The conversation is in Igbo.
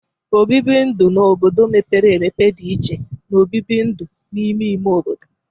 Obibi ndu n'obodo mepere empe dị iche na obibi ndu n'ime ime obodo.